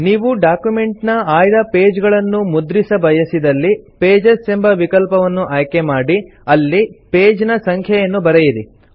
ನೀವು ಡಾಕ್ಯುಮೆಂಟ್ ನ ಆಯ್ದ ಪೇಜ್ ಗಳನ್ನು ಮುದ್ರಿಸ ಬಯಸಿದಲ್ಲಿ ಪೇಜಸ್ ಎಂಬ ವಿಕಲ್ಪವನ್ನು ಆಯ್ಕೆ ಮಾಡಿ ಅಲ್ಲಿ ಪೇಜ್ ನ ಸಂಖ್ಯೆಯನ್ನು ಬರೆಯಿರಿ